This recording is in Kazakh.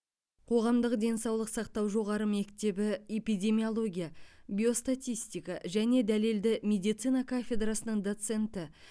қоғамдық денсаулық сақтау жоғары мектебі эпидемиология биостатистика және дәлелді медицина кафедрасының доценті